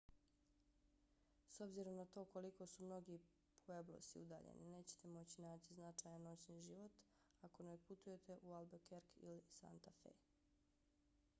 s obzirom na to koliko su mnogi pueblosi udaljeni nećete moći naći značajan noćni život ako ne otputujete u albuquerque ili santa fe